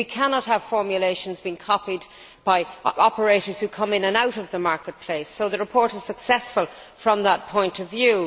We cannot have formulations being copied by operators who come in and out of the marketplace, so the report is successful from that point of view.